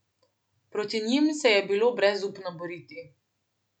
Proti njim se je bilo brezupno boriti.